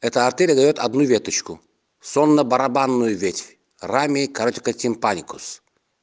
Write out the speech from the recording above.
это артерия ловит одну веточку сонно барабанную ведь рами короче катин политикус